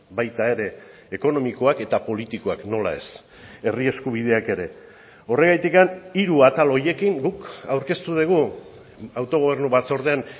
baita ere ekonomikoak eta politikoak nola ez herri eskubideak ere horregatik hiru atal horiekin guk aurkeztu dugu autogobernu batzordean